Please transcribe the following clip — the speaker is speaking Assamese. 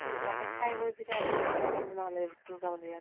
কি ইয়াতে খাই বৈ পিঠা নহলে দুৰ্গা মন্দিৰত